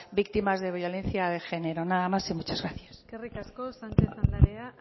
víctimas de violencia de género nada más y muchas gracias eskerrik asko sánchez